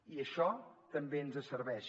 i això també ens serveix